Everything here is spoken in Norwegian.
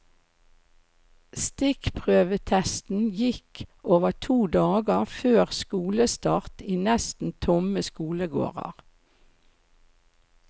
Stikkprøvetesten gikk over to dager før skolestart i nesten tomme skolegårder.